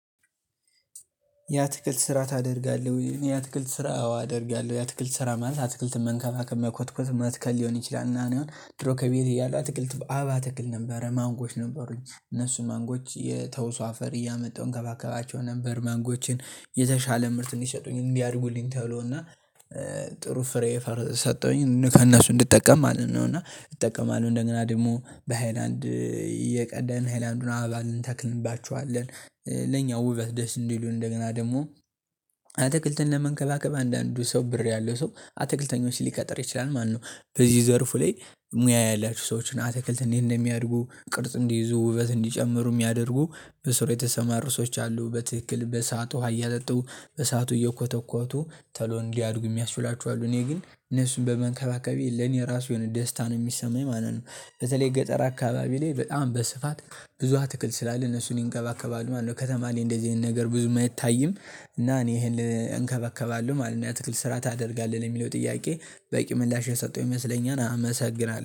የአትክልት ስራ ታደርጋለህ ወይ? እኔ የአትክልት ስራ አዎ አደርጋለሁ የአትክልት ስራ ማለት አትክልት መንከባከብ፣ መኮትኮት፣ መትከል ሊሆን ይችላል እና እኔ ድሮ ከቤት እያለው አትክልት አበባ እተክል ነበር። ማንጎዎች ነበሩኝ እነሱን ማንጎዎች የተውሶ አፈር እያመጣው እንከባከባቸው ነበር ማንጎችን የተሻለ ምርት እንዲሰጡኝ እንዲያድጉልኝ ተብሎና ጥሩ ፍሬ ፈር ሰጠሁኝ ከእነሱ እንድጠቀም ማለት ነው እና እጠቀማለሁ። እንደገና ደግሞ በሃይላንድ እየቀደድን ሃይላንዱን አበባ እንተክልባችኋለን። ለኛ ውበት ደስ እንዲሉን እንደገና ደግሞ አትክልትን ለመንከባከብ አንዳንዱ ሰው ብር ያለው ሰው አትክልተኞች ሊቀጥር ይችላል ማለት ነው በዚህ ዘርፉ ላይ ሙያ ያላችሁ ሰዎችን አትክልት እንዴት እንደሚያድጉ ቅርጽ እንዲይዙ ውበት እንዲጨምሩ ሚያደርጉ በስሩ የተሰማሩ ሰዎች አሉ በትክክል በሰአቱ ውሃ እያጠጡ በሰአቱ እየኮተኮቱ ቶሎ እንዲያድጉ የሚያስችሏቸው አሉ እኔ ግን እነሱን በመንከባከቤ ለኔ ራሱ የሆነ ደስታን ሚሰማኝ ማለት ነው በተለይ ገጠር አካባቢ ላይ በጣም በስፋት ብዙ አትክልት ስላለ እነሱን ይንከባከባሉ ማለት ነው። ከተማ ላይ እንደዚህ አይነት ነገር ብዙም አይታይም እና እኔ ይሄን እንከባከባለው ማለት ነው። የትክል ስራ ታደርጋለህ ለሚለው ጥያቄ በቂ ምላሽ የሰጠው ይመስለኛል አመሰግናለሁ።